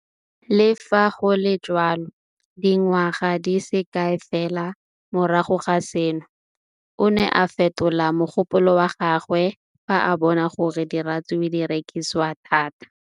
Le fa go le jalo, dingwaga di se kae fela morago ga seno, o ne a fetola mogopolo wa gagwe fa a bona gore diratsuru di rekisiwa thata.